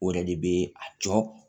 O yɛrɛ de bɛ a jɔ